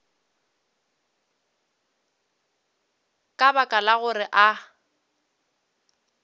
ka baka la gore a